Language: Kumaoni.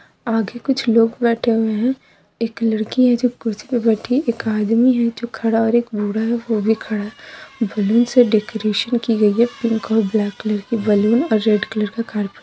आगे कुछ लोग बैठे हुए हैं एक लड़की है जो कुर्सी पर बैठी हुई है एक आदमी है जो की खड़ा और एक बूढ़ा है वह भी खड़ा है बैलून से डेकोरेशन की गई है पिंक और ब्लैक कलर की बैलून रेड कलर की कारपेट --